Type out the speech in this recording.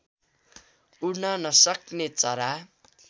उड्न नसक्ने चरा